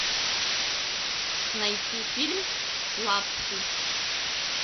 найти фильм лапси